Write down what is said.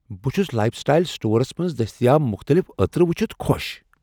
بہٕ چھس lifestyle stores منٛز دٔستیاب مختٔلف عتر وٗچھِتھ خوش۔